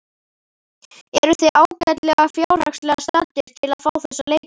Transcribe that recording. Eruð þið ágætlega fjárhagslega staddir til að fá þessa leikmenn?